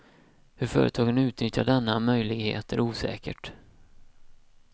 Hur företagen utnyttjat denna möjlighet är osäkert.